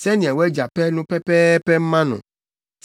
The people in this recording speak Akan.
sɛnea wʼagya pɛ no pɛpɛɛpɛ mma no.